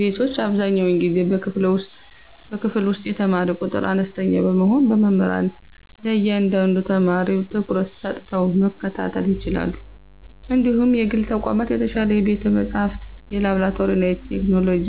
ቤቶች አብዛኛውን ጊዜ በክፍል ውስጥ የተማሪ ቁጥር አነስተኛ በመሆኑ መምህራን ለእያንዳንዱ ተማሪ ትኩረት ሰጥተው መከታተል ይችላሉ እንዲሁም የግል ተቋማት የተሻለ የቤተ-መጻሕፍት፣ የላብራቶሪና የቴክኖሎጂ